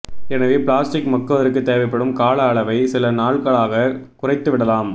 எனவே பிளாஸ்டிக் மக்குவதற்கு தேவைப்படும் கால அளவை சில நாள்களாகக் குறைத்துவிடலாம்